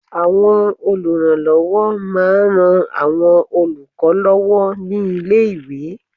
Àwọn olùrànlọwọ ma n ran àwọn olùkọ lọwọ ni ilé iwe